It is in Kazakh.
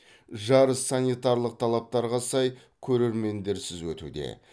жарыс санитарлық талаптарға сай көрермендерсіз өтуде